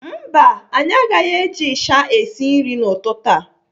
Mba anyị agaghị eji ịsha esi nri n'ụtụtụ a.